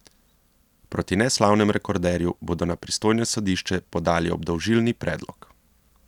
Proti neslavnemu rekorderju bodo na pristojno sodišče podali obdolžilni predlog.